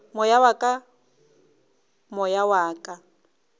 moya wa ka moya wa